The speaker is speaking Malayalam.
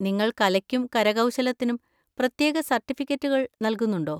നിങ്ങൾ കലയ്ക്കും കരകൗശലത്തിനും പ്രത്യേക സർട്ടിഫിക്കറ്റുകൾ നൽകുന്നുണ്ടോ?